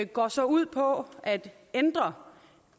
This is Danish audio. går så ud på at ændre